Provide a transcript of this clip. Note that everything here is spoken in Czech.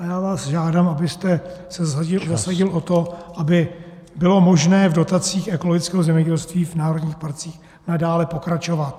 A já vás žádám , abyste se zasadil o to, aby bylo možné v dotacích ekologického zemědělství v národních parcích nadále pokračovat.